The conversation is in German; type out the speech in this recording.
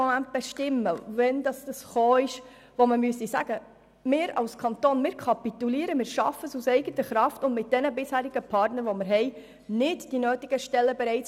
Sie können den dafür notwendigen Zeitpunkt bestimmen, in dem erklärt werden müsste, dass es der Kanton aus eigener Kraft und mit den bisherigen Partnern nicht mehr schafft, die notwendigen Stellen anzubieten.